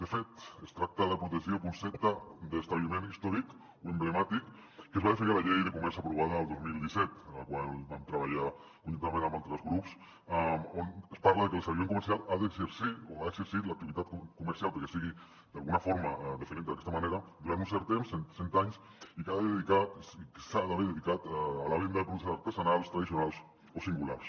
de fet es tracta de protegir el concepte d’ establiment històric o emblemàtic que es va definir a la llei de comerç aprovada el dos mil disset en la qual vam treballar conjuntament amb altres grups on es parla que l’establiment comercial ha d’exercir o ha d’haver exercit l’activitat comercial perquè sigui d’alguna forma definint d’aquesta manera durant un cert temps cent anys i que s’ha d’haver dedicat a la venda de productes artesanals tradicionals o singulars